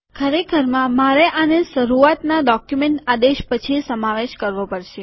ખરેખરમાં મારે આને શરૂઆતના ડોક્યુમેન્ટ આદેશ પછી સમાવેશ કરવો પડશે